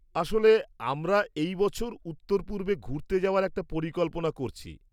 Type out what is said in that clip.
আসলে, আমরা এই বছর উত্তরপূর্বে ঘুরতে যাওয়ার একটা পরিকল্পনা করছি।